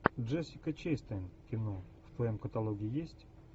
джессика честейн кино в твоем каталоге есть